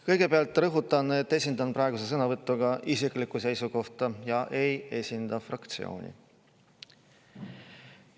Kõigepealt rõhutan, et esindan praeguse sõnavõtuga isiklikku seisukohta ja ei esinda fraktsiooni.